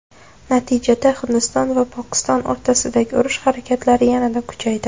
Natijada, Hindiston va Pokiston o‘rtasidagi urush harakatlari yanada kuchaydi.